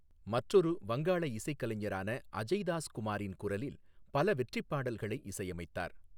மற்றொரு வங்காள இசைக்கலைஞரான அஜய் தாஸ் குமாரின் குரலில் பல வெற்றிப் பாடல்களை இசையமைத்தார்.